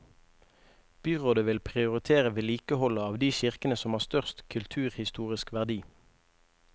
Byrådet vil prioritere vedlikeholdet av de kirkene som har størst kulturhistorisk verdi.